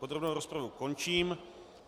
Podrobnou rozpravu končím.